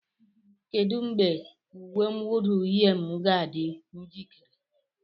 Kedu mgbe uwe mwụda uhie m ga-adị njikere?